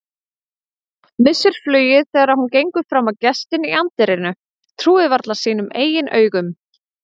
Missir flugið þegar hún gengur fram á gestinn í anddyrinu, trúir varla sínum eigin augum.